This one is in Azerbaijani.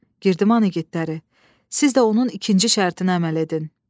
Girdiman igidləri, siz də onun ikinci şərtinə əməl edin.